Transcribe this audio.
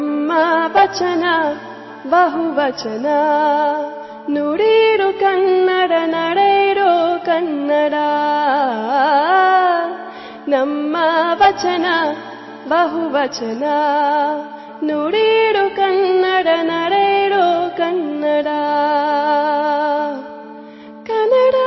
MKB EP 105 audio byte 2